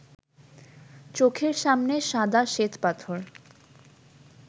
চোখের সামনে সাদা শ্বেতপাথর